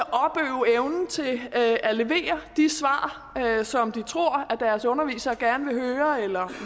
at at levere de svar som de tror at deres undervisere gerne vil høre eller